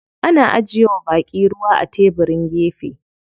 Ana ajiye wa baƙi ruwa a tebirin gefe.